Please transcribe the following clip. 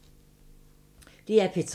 DR P3